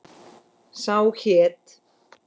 Sá hét